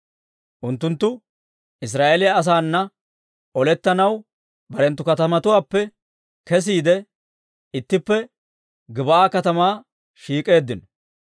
Unttunttu Israa'eeliyaa asaanna olettanaw barenttu katamatuwaappe kesiide, ittippe Gib'aa katamaa shiik'eeddino.